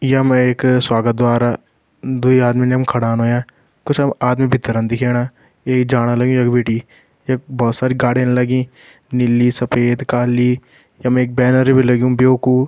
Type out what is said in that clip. य म एक स्वागत द्वार अ द्वी आदमी यम खड़ान हव्यां कुछ आदमी भीतरन दिखेणा एक जाण लग्युं यख बिटि यख भोत सारी गाडिन लगीं नीली सफेद काली य म एक बैनर भी लग्यूं ब्यो कु।